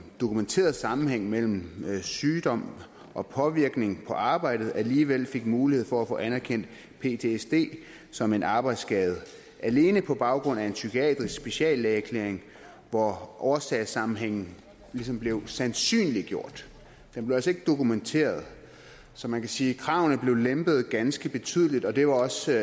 dokumenteret sammenhæng mellem sygdom og påvirkning på arbejdet alligevel fik mulighed for at få anerkendt ptsd som en arbejdsskade alene på baggrund af en psykiatrisk speciallæge erklæring hvor årsagssammenhængen ligesom blev sandsynliggjort men altså ikke blev dokumenteret så man kan sige at kravene blev lempet ganske betydeligt og det var også